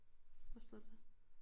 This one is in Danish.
Hvad står der dér